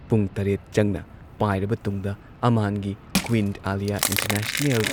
ꯄꯨꯡ ꯇꯔꯦꯠ ꯆꯪꯅ ꯄꯥꯏꯔꯕ ꯇꯨꯡꯗ ꯑꯃꯥꯟꯒꯤ ꯀ꯭ꯋꯤꯟ ꯑꯥꯂꯤꯌꯥ ꯏꯟꯇꯔꯅꯦꯁꯅꯦꯜ